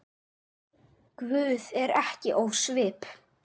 Guð er ekki ósvip